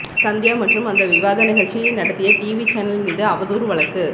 சந்தியா மற்றும் அந்த விவாத நிகழ்ச்சியை நடத்திய டிவி சேனல் மீது அவதூறு வழக்கு